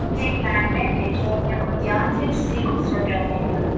एक लाइन में बैठे हैं और ध्यान से किसी को सुन रहे हैं।